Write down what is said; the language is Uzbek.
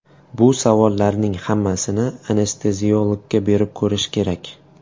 Bu savollarning hammasini anesteziologga berib ko‘rish kerak”.